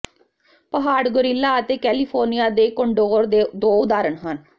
ਪਹਾੜ ਗੋਰਿਲਾ ਅਤੇ ਕੈਲੀਫ਼ੋਰਨੀਆ ਦੇ ਕੋਂਡੋਰ ਦੋ ਉਦਾਹਰਣ ਹਨ